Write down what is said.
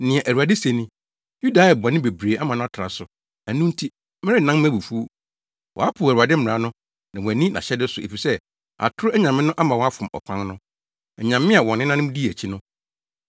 Nea Awurade se ni: “Yuda ayɛ bɔne bebree ama no atra so, ɛno nti, merennan mʼabufuw. Wɔapo Awurade mmara no na wɔanni nʼahyɛde so efisɛ atoro anyame no ama wɔafom ɔkwan no, anyame a wɔn nenanom dii akyi no.